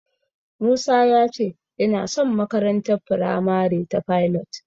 Musa ya ce yana son makarantar firamare ta Pilot.